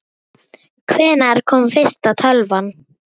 Hvenær kom fyrsta tölvan?